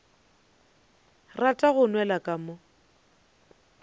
rata go nwela ka mo